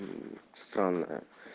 странная